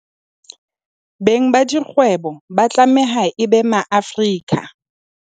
Beng ba dikgwebo ba tlameha e be Maafrika.